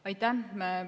Aitäh!